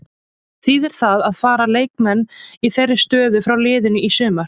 Þýðir það að fara leikmenn í þeirri stöðu frá liðinu í sumar?